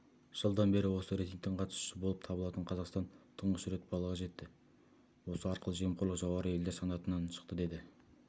жылдан бері осы рейтингтің қатысушысы болып табылатын қазақстан тұңғыш рет баллға жетті осы арқылы жемқорлық жоғары елдер санатынан шықты деді